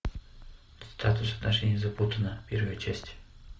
статус отношений запутано первая часть